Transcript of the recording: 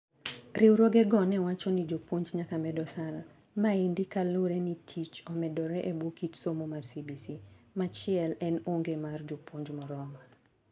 Riwruoge go ne wacho ni jopuonj nyaka med osara. Maendi kalure ni tich omedore ebwo kit somo mar CBC. Machiel en onge mar jopuonj moromo.